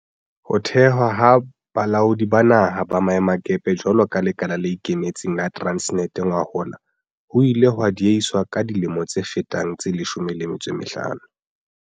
Ho thehwa ha Balaodi ba Naha ba Maemakepe jwalo ka lekala le ikemetseng la Transnet ngwahola ho ile ha diehiswa ka dilemo tse fetang tse 15.